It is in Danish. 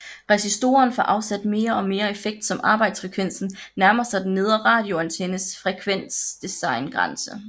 Resistoren får afsat mere og mere effekt som arbejdsfrekvensen nærmer sig den nedre radioantennes frekvensdesigngrænse